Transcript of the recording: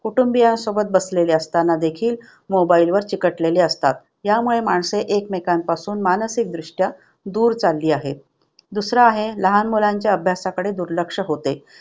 कुटुंबियासोबत बसलेले असताना देखील mobile वर चिकटलेले असतात. त्यामुळे माणसे एकमेकांपासून मानसिकदृष्ट्या दूर चाललेली आहे. दुसरा आहे लहान मुलांच्या अभ्यासाकडे दुर्लक्ष होते.